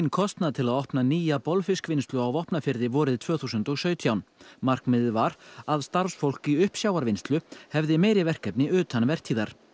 kostnað til að opna nýja bolfiskvinnslu á Vopnafirði vorið tvö þúsund og sautján markmiðið var að starfsfólk í uppsjávarvinnslu hefði meiri verkefni utan vertíðar